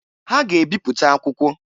Ha ga-ebipụta akwụkwọ.